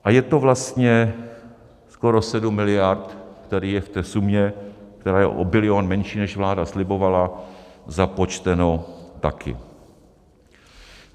A je to vlastně skoro 7 miliard, tady je v té sumě, která je o bilion menší, než vláda slibovala, započteno také.